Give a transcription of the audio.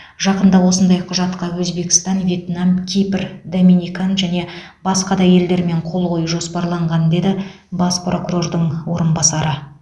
жақында осындай құжатқа өзбекстан вьетнам кипр доминикан және басқа да елдермен қол қою жоспарланған деді бас прокурордың орынбасары